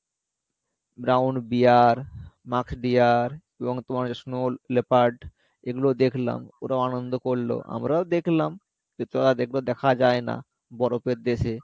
groundbear musk deer এবং তোমার হচ্ছে snow lepard এগুলোও দেখলাম ওরাও আনন্দ করলো আমরাও দেখলাম দেখা যাই না বরফের দেশে